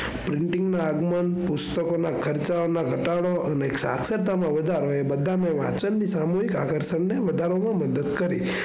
પુસ્તકોના ખર્ચાઓ નો ઘટાડો અને સાક્ષરતામાં વધારો એ બધા સામુહિક આકર્ષણ વધારવામાં મદદ કરી.